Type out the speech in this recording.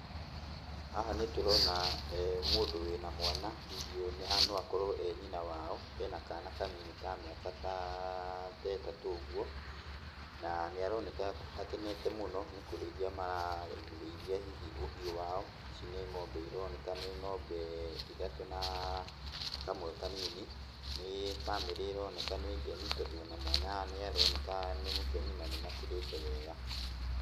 Haha nĩtũrona mũndũ wĩna mwana, hihi ũyũ haha no akorwo e nyina wao. Ena kana kanini ta ka mĩaka ta, ta ĩtatũ ũguo, na nĩaroneka akenete mũno nĩkũrĩithia mararĩithia hihi ũhiũ wao. Ici nĩ ng'ombe ironeka nĩ ng'ombe ithatũ na kamwe kanini. Nĩ bamĩrĩ ĩroneka nĩ ngenu tondũ ona mwana nĩaroneka nĩ mũkenu na nĩmakĩrĩte wega.